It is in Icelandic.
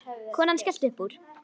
Konan skellti upp úr.